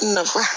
Nafa